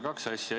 Kaks asja.